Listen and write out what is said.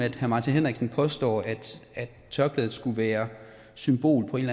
at herre martin henriksen påstår at tørklædet skulle være symbol på en